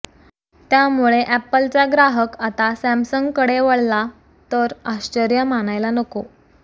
त्यामुळे अॅपलचा ग्राहक आता सॅमसंगकडे वळला तर आश्चर्य मानायला नको